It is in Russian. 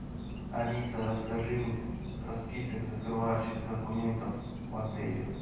алиса расскажи мне про список закрывающих документов в отеле